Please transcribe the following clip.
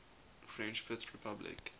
french fifth republic